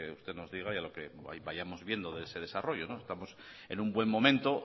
usted nos diga y a lo que vayamos viendo de ese desarrollo estamos en un buen momento